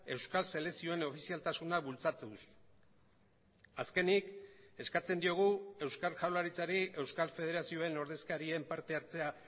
euskal selekzioen ofizialtasuna bultzatuz azkenik eskatzen diogu euskal jaurlaritzari euskal federazioen ordezkarien partehartzea